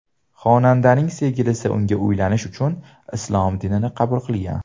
Xonandaning sevgilisi unga uylanish uchun islom dinini qabul qilgan.